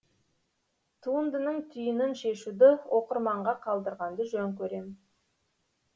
туындының түйінін шешуді оқырманға қалдырғанды жөн көрем